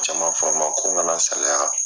Jama fan ma ko n kana salaya.